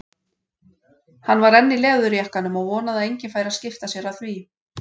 Hann var enn í leðurjakkanum og vonaði að enginn færi að skipta sér af því.